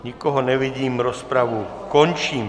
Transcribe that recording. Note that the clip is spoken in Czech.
Nikoho nevidím, rozpravu končím.